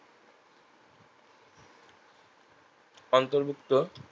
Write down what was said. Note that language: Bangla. অন্তর্ভুক্ত